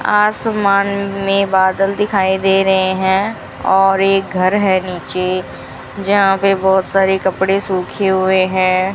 आसमान में बादल दिखाई दे रहे हैं और एक घर है नीचे जहां पे बहोत सारे कपड़े सूखे हुए हैं।